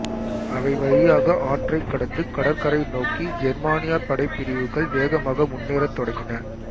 அவை வழியாக ஆற்றைக் கடந்து கடற்கரை நோக்கி ஜெர்மானிய படைப்பிரிவுகள் வேகமாக முன்னேறத் தொடங்கின